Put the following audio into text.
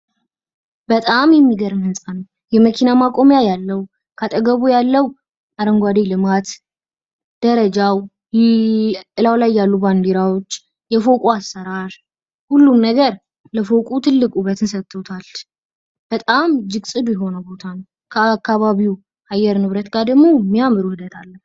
በጣም የሚገርም ህንጻ ነው። የመኪና ማቆሚያ ያለው፣ ከአጠገቡ ያለው አረንጓዴ ልማት፣ ደረጃው እላዩ ላይ ያሉ ባንዲራዎች የቆቁ አሰራር ሁሉም ነገር ለፎቁ ትልቅ ውበትን ሰጦታል። በጣም እጅግ ጽዱ የሆነ ቦታ ነው። ከአካባቢው አየር ንብረት ጋር ደግም የሚያምር ውህደት አለው።